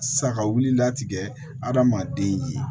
Sagawi la tigɛ adamaden ye